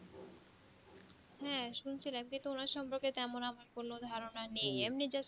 হ্যা শুনছিলাম কিন্তু ওনার সম্পকে তেমন আমার কোনো ধারণা নেই আমিন just